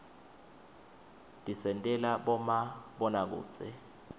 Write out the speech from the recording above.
tisentela bomabonakudze